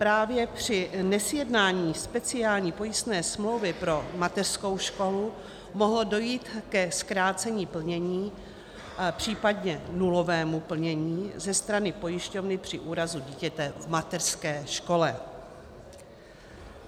Právě při nesjednání speciální pojistné smlouvy pro mateřskou školu mohlo dojít ke zkrácení plnění, případně nulovému plnění ze strany pojišťovny při úrazu dítěte v mateřské škole.